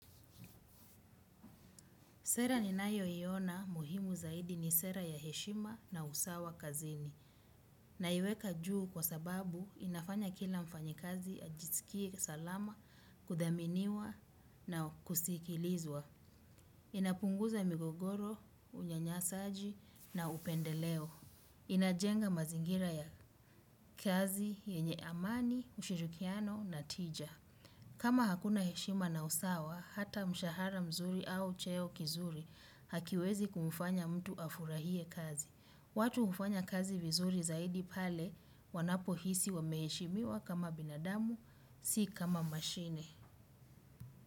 Sera ninayoiona muhimu zaidi ni sera ya heshima na usawa kazini. Naiweka juu kwa sababu inafanya kila mfanyikazi ajisikie salama kuthaminiwa na kusikilizwa. Inapunguza migogoro unyanyasaji na upendeleo. Inajenga mazingira ya kazi yenye amani, ushirikiano na tija. Kama hakuna heshima na usawa, hata mshahara mzuri au cheo kizuri hakiwezi kumfanya mtu afurahie kazi. Watu hufanya kazi vizuri zaidi pale wanapohisi wameheshimiwa kama binadamu, si kama mashine.